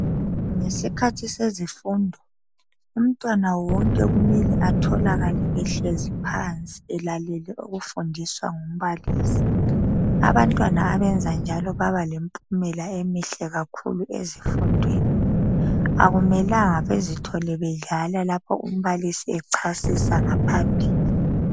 Ngesikhathi sezifundo umntwana wonke kumele atholakale ehlezi phansi elalele okufundiswa ngumbalisi, abantwana abayenza njalo baba lempumela emihle kakhulu ezifundweni kodwa akumelanga bezithole bedlala lapho umbalisi echasisa ngaphambili.